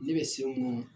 Ne bɛ se munun